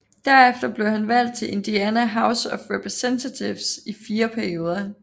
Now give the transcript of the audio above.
Derefter blev han valgt til Indiana House of Representatives i fire perioder